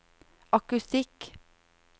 akustikk